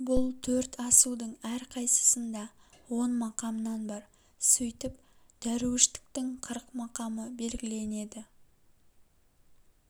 бұл төрт асудың әрқайсысында он мақамнан бар сөйтіп дәруіштіктің қырық мақамы белгіленеді